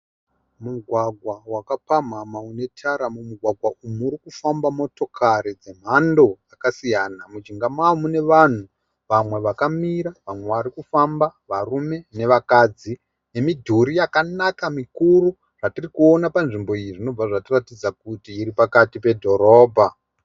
Mugwagwa wakapamhamha unetara, mumugwagwa umu muri kufamba motokari dzemhando dzakasiyana. Mujinga mavo mune vanhu vamwe vakamira vamwe vari kufamba varume nevakadzi nemidhori yakanaka mikuru yatiri kuona panzvimbo iyi zvinobva zvatiradza kuti iri pakati pedhorobha.